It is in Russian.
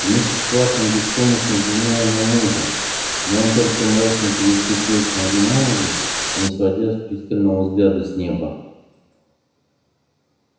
миссис ватсон беспомощно взглянула на мужа но он только мрачно переступил с ноги на ногу не сводя с пристального взгляда с неба